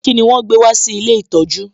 Kíni wọn gbé wá sí ilé ìtọjú?